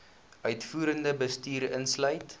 uitvoerende bestuur insluit